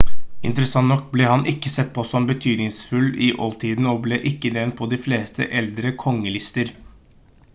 interessant nok ble han ikke sett på som betydningsfull i oldtiden og ble ikke nevnt på de fleste eldre kongelister